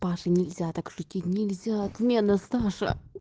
саша нельзя так шутить нельзя отмена саша